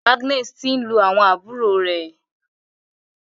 Agnes tí ń lù àwọn àbúrò rẹ.